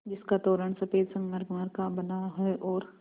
जिसका तोरण सफ़ेद संगमरमर का बना है और